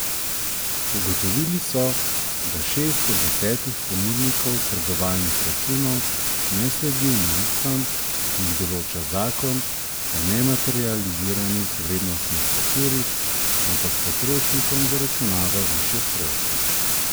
Ugotovili so, da šest od desetih ponudnikov trgovalnih računov ne sledi omejitvam, ki jih določa zakon o nematerializiranih vrednostnih papirjih, ampak potrošnikom zaračunava višje stroške.